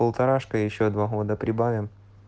полторашка ещё два года прибавим